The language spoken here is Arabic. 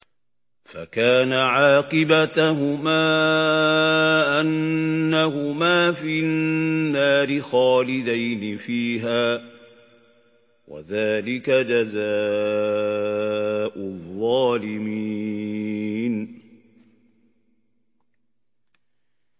فَكَانَ عَاقِبَتَهُمَا أَنَّهُمَا فِي النَّارِ خَالِدَيْنِ فِيهَا ۚ وَذَٰلِكَ جَزَاءُ الظَّالِمِينَ